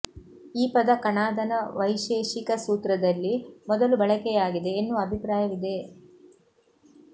ಈ ಪದ ಕಣಾದನ ವೈಶೇಷಿಕ ಸೂತ್ರದಲ್ಲಿ ಮೊದಲು ಬಳಕೆಯಾಗಿದೆ ಎನ್ನುವ ಅಭಿಪ್ರಾಯವಿದೆ